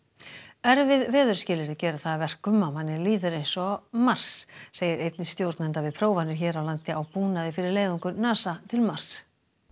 erfið veðurskilyrði gera það að verkum að manni líður eins og á Mars segir einn stjórnenda við prófanir hér á landi á búnaði fyrir leiðangur NASA til Mars